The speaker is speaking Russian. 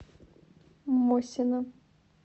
мосина